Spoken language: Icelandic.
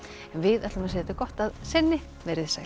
við segjum þetta gott að sinni veriði sæl